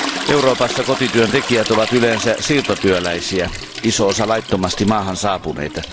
Euroopassa kotityöntekijät ovat yleensä siirtotyöläisiä, iso osa laittomasti maahan saapuneita.